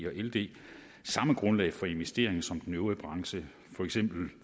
og ld samme grundlag for at investere som den øvrige branche for eksempel